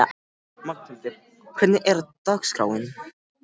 Magnhildur, hvernig er dagskráin?